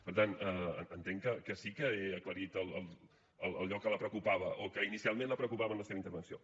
per tant entenc que sí que he aclarit allò que la preocupava o que inicialment la preocupava en la seva intervenció